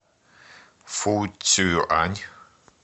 фуцюань